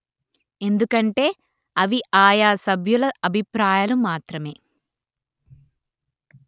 ఎందుకంటే అవి ఆయా సభ్యుల అభిప్రాయాలు మాత్రమే